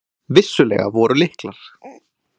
Vissulega voru lyklar.